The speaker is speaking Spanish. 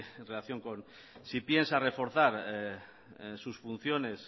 en relación con si piensa reforzar sus funciones